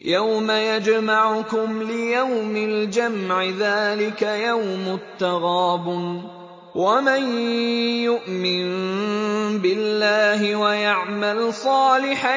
يَوْمَ يَجْمَعُكُمْ لِيَوْمِ الْجَمْعِ ۖ ذَٰلِكَ يَوْمُ التَّغَابُنِ ۗ وَمَن يُؤْمِن بِاللَّهِ وَيَعْمَلْ صَالِحًا